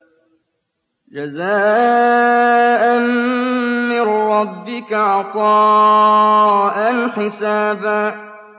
جَزَاءً مِّن رَّبِّكَ عَطَاءً حِسَابًا